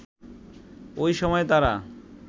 ওই সময় তারা